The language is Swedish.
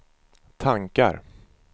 tankar